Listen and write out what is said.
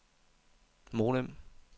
modem